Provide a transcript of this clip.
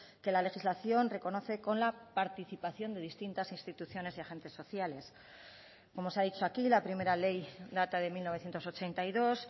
que la legislación reconoce con la participación de distintas instituciones y agentes sociales como se ha dicho aquí la primera ley data de mil novecientos ochenta y dos